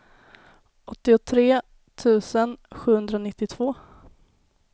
åttiotre tusen sjuhundranittiotvå